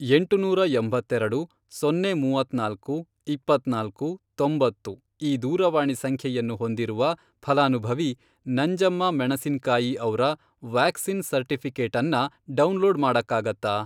ಎಂಟುನೂರಾ ಎಂಬತ್ತೆರೆಡು ,ಸೊನ್ನೆ ಮೂವತ್ನಾಲ್ಕು, ಇಪ್ಪತ್ನಾಲ್ಕು, ತೊಂಬತ್ತು, ಈ ದೂರವಾಣಿ ಸಂಖ್ಯೆಯನ್ನು ಹೊಂದಿರುವ ಫಲಾನುಭವಿ ನಂಜಮ್ಮ ಮೆಣಸಿನ್ಕಾಯಿ ಅವ್ರ ವ್ಯಾಕ್ಸಿನ್ ಸರ್ಟಿಫಿ಼ಕೇಟನ್ನ ಡೌನ್ಲೋಡ್ ಮಾಡಕ್ಕಾಗತ್ತಾ?